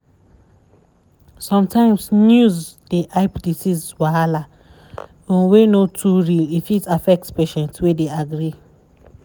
sometimes news dey hype disease wahala um wey no too real e fit affect patient wey dey agree.